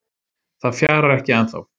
Það fjarar ekki ennþá